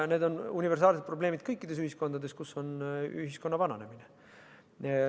Need on universaalsed probleemid kõikides ühiskondades, mis vananevad.